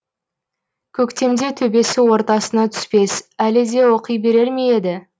көктемде төбесі ортасына түспес әлі де оқи берер ме еді